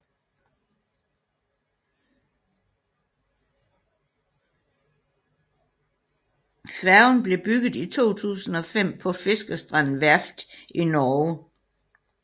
Færgen blev bygget i 2005 på Fiskerstrand Verft i Norge